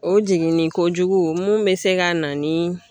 O jiginnenkojugu mun bɛ se ka na ni